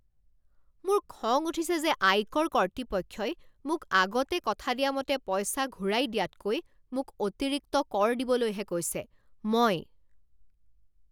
মোৰ খং উঠিছে যে আয়কৰ কৰ্তৃপক্ষই মোক আগতে কথা দিয়া মতে পইচা ঘূৰাই দিয়াতকৈ মোক অতিৰিক্ত কৰ দিবলৈহে কৈছে। মই